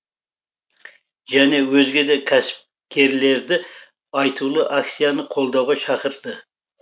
және өзге де кәсіпкерлерді айтулы акцияны қолдауға шақырды